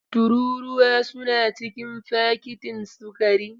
Tururuwa suna cikin fakitin sukari.